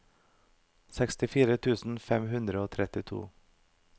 sekstifire tusen fem hundre og trettito